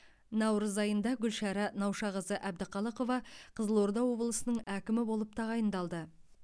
наурыз айында гүлшара наушақызы әбдіқалықова қызылорда облысының әкімі болып тағайындалды